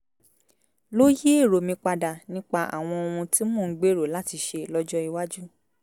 ló yí èrò mi padà nípa àwọn ohun tí mò ń gbèrò láti ṣe lọ́jọ́ iwájú